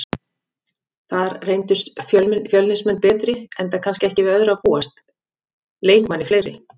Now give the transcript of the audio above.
Þar reyndust Fjölnismenn betri enda kannski ekki við öðru að búast, leikmanni fleiri.